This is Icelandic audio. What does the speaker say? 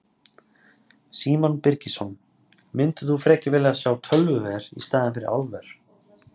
Símon Birgisson: Myndir þú frekar vilja sjá tölvuver í staðinn fyrir álver?